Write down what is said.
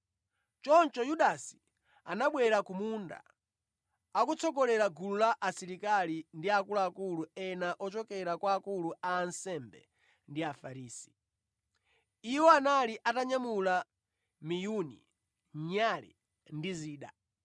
Choncho Yudasi anabwera ku munda, akutsogolera gulu la asilikali ndi akuluakulu ena ochokera kwa akulu a ansembe ndi Afarisi. Iwo anali atanyamula miyuni, nyale ndi zida.